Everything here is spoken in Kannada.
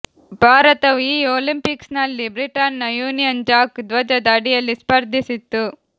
ಭಾರತವು ಈ ಒಲಿಂಪಿಕ್ಸ್ನಲ್ಲಿ ಬ್ರಿಟನ್ನ ಯೂನಿಯನ್ ಜಾಕ್ ಧ್ವಜದ ಅಡಿಯಲ್ಲಿ ಸ್ಪರ್ಧಿಸಿತ್ತು